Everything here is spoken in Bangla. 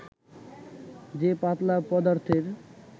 যে পাতলা পদার্থের